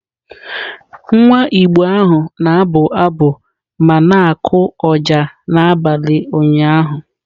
Nwa Igbo ahụ na-abụ abụ ma na-akụ ọjà n'abalị ụnyahụ.